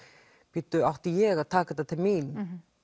bíddu átti ég að taka þetta til mín